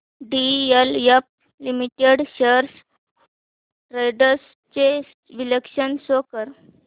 DLF limited shares trends चे विश्लेषण show कर